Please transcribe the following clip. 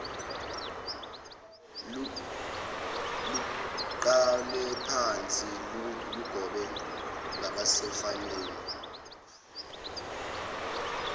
luqalephansi lugobe ngasebafaneni